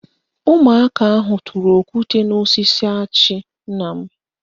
Ụmụaka ahụ tụrụ okwute n'osisi achị nna m